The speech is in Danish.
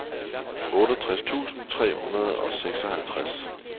otteogtres tusind tre hundrede og seksoghalvtreds